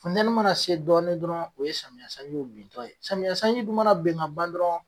Futɛni mana se dɔɔnin dɔrɔn o ye samiya sanjiw bintɔ ye. Samiya sanji dun mana ben ka ban dɔrɔn